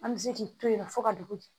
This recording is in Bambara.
An bɛ se k'i to yen nɔ fo ka dugu jɛ